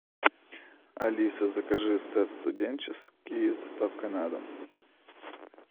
алиса закажи сет студенческий с доставкой на дом